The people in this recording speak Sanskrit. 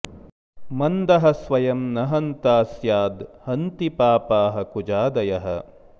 मन्दः स्वयं न हन्ता स्याद् हन्ति पापाः कुजादयः